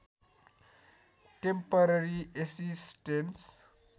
temporary assistance